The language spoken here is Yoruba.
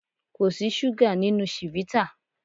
Kò sí súgà nínú chivita.